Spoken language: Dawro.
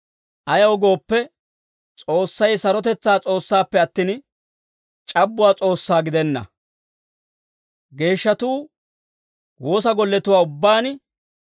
Ayaw gooppe, S'oossay sarotetsaa S'oossaappe attin, c'abbuwaa S'oossaa gidenna. Geeshshatuu woosa golletuwaa ubbaan,